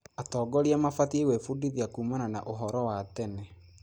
Atongoria mabatiĩ gwĩbundithia kuumana na ũhoro wa tene.